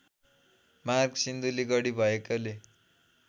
मार्ग सिन्धुलीगढी भएकोले